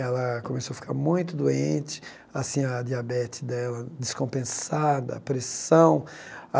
Ela começou a ficar muito doente, assim a diabetes dela descompensada, a pressão.